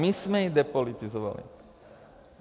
My jsme ji depolitizovali.